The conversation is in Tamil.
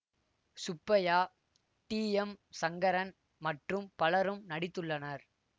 சுப்பைய்யா டி எம் சங்கரன் மற்றும் பலரும் நடித்துள்ளனர்